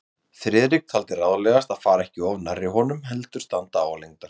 Friðrik taldi ráðlegast að fara ekki of nærri honum, heldur standa álengdar.